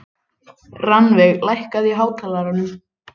Rannveig, lækkaðu í hátalaranum.